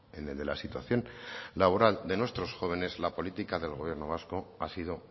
en el de la situación laboral de nuestros jóvenes la política del gobierno vasco ha sido